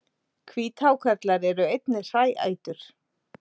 Hvíthákarlar eru einnig hræætur.